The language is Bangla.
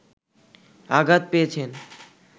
আঘাত পেয়েছেন